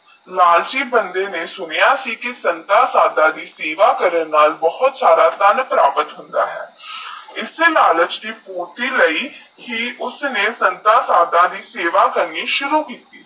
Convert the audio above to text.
ਲਾਲਚੀ ਬੰਦੇ ਨੇ ਸੁਣਿਆ ਸੀ ਕਿ ਸੰਤਾ ਸਦਾ ਦੀ ਸੇਵਾ ਕਰਨ ਨਾਲ ਭੂਤ ਸਾਰਾ ਧਨ ਪ੍ਰਾਪਤ ਹੋਤਾ ਹੈਨ ਈਸ ਲਾਲਚ ਦੀ ਪੂਰਤੀ ਲਈ ਉੱਨੇ ਸੰਤਾ ਸਦਾ ਦੀ ਸੇਵਾਂ ਕਰਨੀ ਸੁਰੂ ਕੀਤੀ